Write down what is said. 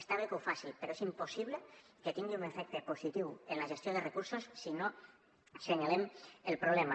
està bé que ho faci però és impossible que tingui un efecte positiu en la gestió de recursos si no assenyalem el problema